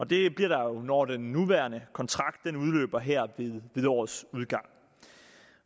det bliver der jo når den nuværende kontrakt udløber her ved dette års udgang